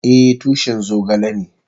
Eh, tushin zogale ne.